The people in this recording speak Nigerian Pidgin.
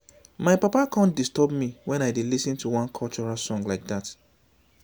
my papa come disturb me wen i dey lis ten to one cultural song like dat